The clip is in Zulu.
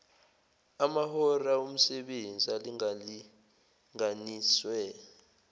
amahora omsebenzi alingalinganiswe